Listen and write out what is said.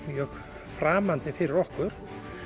mjög framandi fyrir okkur